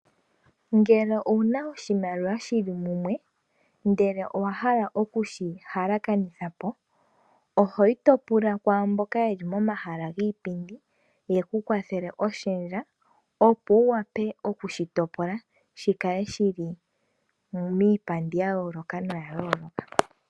Ngele owuna oshimaliwa shili mumwe. Nowahala oku shi shendja ohoka pula ashike mboka yeli momahala giipindi yeku kwathele oshendja.